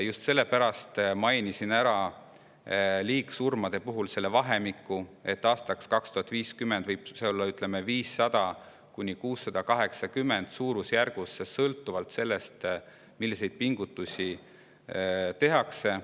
Just sellepärast mainisin liigsurmade puhul ära selle, et aastaks 2050 võib nende vahemik olla suurusjärgus 500–680 surma, sõltuvalt sellest, milliseid pingutusi tehakse.